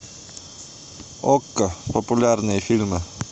окко популярные фильмы